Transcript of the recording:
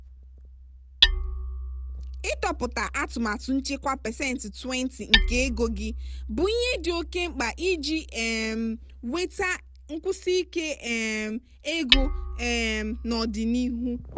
ịtọpụta atụmatụ nchekwa pasentị 20 nke ego gị bụ ihe dị oke mkpa iji um nweta nkwụsiike um ego um n'ọdịnihu.